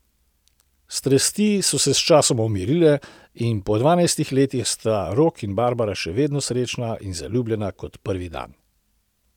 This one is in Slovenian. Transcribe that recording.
Strasti so se sčasoma umirile in po dvanajstih letih sta Rok in Barbara še vedno srečna in zaljubljena kot prvi dan.